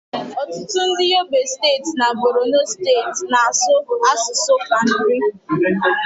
ọtụtụ ndị Yobe steeti na Borono steeti na-asụ asụsụ Kanuri